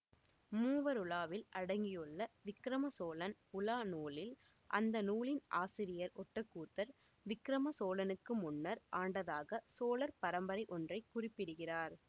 மூவருலாவில் அடங்கியுள்ள விக்கிரம சோழன் உலா நூலில் அந்த நூலின் ஆசிரியர் ஒட்டக்கூத்தர் விக்கிரம சோழனுக்கு முன்னர் ஆண்டதாகச் சோழர் பரம்பரை ஒன்றை குறிப்பிடுகிறார்